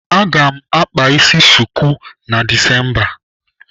Aga m akpa isi chuku na Disemba.